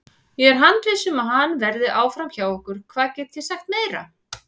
Ég er handviss um að hann verði áfram hjá okkur, hvað get ég sagt meira?